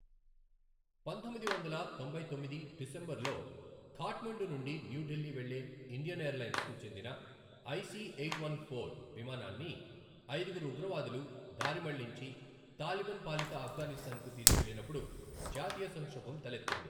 పంతొమ్మిది వందల తొంభై తొమ్మిది డిసెంబర్ లో ఖాట్మండు నుండి న్యూ ఢిల్లీ వెళ్ళే ఇండియన్ ఎయిర్ లైన్స్ కు చెందిన ఐసి ఎయిట్ వన్ ఫోర్ విమానాన్ని ఐదుగురు ఉగ్రవాదులు దారిమళ్లించి తాలిబన్ పాలిత అఫ్గానిస్తాన్ కు తీసుకెళ్లినప్పుడు జాతీయ సంక్షోభం తలెత్తింది.